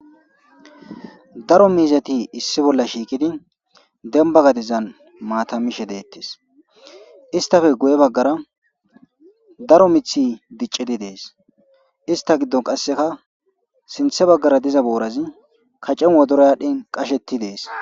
Daro miizati issi bolla shiikidi demba gadizan maatamishe deettes istafe guye baggara daro mithi diccidi dees ista giddon qasseka sinthe baggara diza boorazi kaccen wodora aadhdhin qashetti dees.